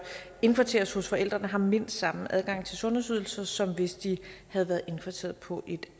indkvarteres hos forældrene har mindst samme adgang til sundhedsydelser som hvis de havde været indkvarteret på et